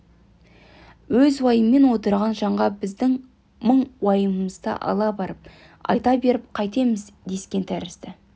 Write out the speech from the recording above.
өзі уайыммен отырған жанға біздің мұң уайымымызды ала барып айта беріп қайтеміз дескен тәрізді